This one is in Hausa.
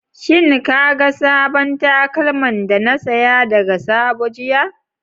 Shin ka ga sabon takalman da na saya daga sabo jiya.